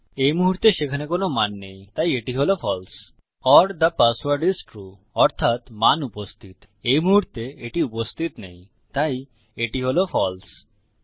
এই মুহুর্তে সেখানে কোনো মান নেই তাই এটি হল false or the password is true অর্থাত মান উপস্থিত এই মুহুর্তে এটি উপস্থিত নেই তাই এটি হল ফালসে